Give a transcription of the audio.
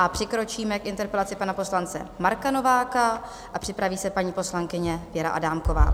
A přikročíme k interpelaci pana poslance Marka Nováka a připraví se paní poslankyně Věra Adámková.